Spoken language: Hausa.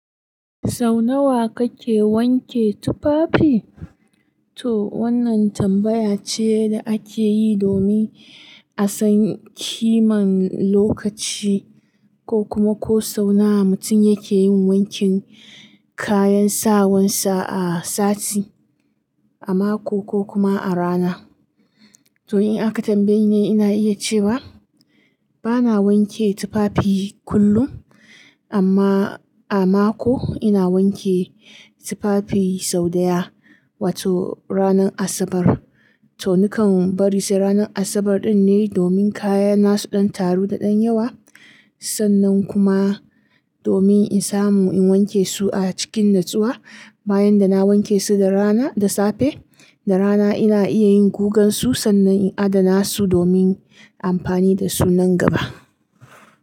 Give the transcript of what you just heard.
Sau nawa kake wanke tufafi? To wannan tambaya ce da ake yi domin a san kiman lokaci ko kuma ko sau nawa mutum yake yin wankin kayan sawansa a sati, a mako ko kuma a rana. To in aka tambaye ni, ina iya cewa bana wanke tufafi kullum amma a mako ina wanke tufafi sau ɗaya, wato ranar Asabar. To nikan bari sai ranar Asabar din ne domin kaya na su ɗan taru da ɗan yawa. Sannan kuma domin in samu in wanke su a cikin natsuwa bayan da na wanke su da rana, da safe. Da rana ina iya yin gugan su sannan in adana su domin amfani da su nan gaba.